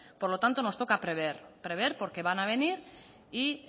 por lo tanto nos toca prever prever porque van a venir y